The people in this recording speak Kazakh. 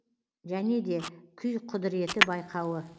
және де күй құдыреті байқауы